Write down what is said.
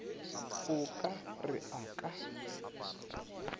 o ka re a ka